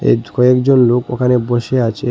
Age কয়েকজন লোক ওখানে বসে আছে।